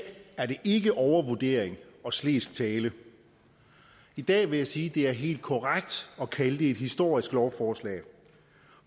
er det ikke overvurdering og slesk tale i dag vil jeg sige at det er helt korrekt at kalde det et historisk lovforslag